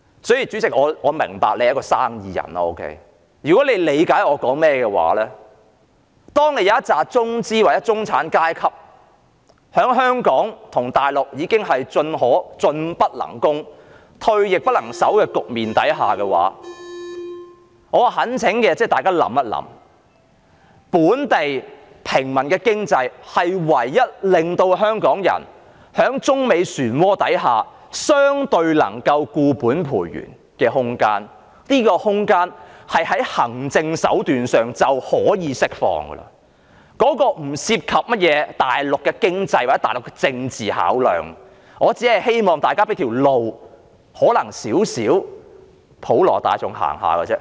主席，我明白你是生意人，如果你理解我的發言，當有一群中資或中產階級在香港與大陸已經面對"進不能攻，退亦不能守"的局面時，我懇請大家思考，本地平民的經濟便是唯一令香港人在中美旋渦下相對能夠固本培元的空間，而這空間透過行政手段已可釋放，當中不涉及甚麼大陸的經濟，或大陸的政治考量，我只希望大家給予一條路，讓一少部分的普羅大眾能夠走。